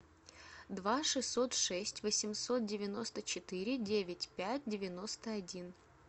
два шестьсот шесть восемьсот девяносто четыре девять пять девяносто один